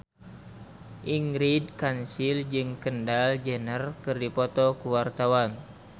Ingrid Kansil jeung Kendall Jenner keur dipoto ku wartawan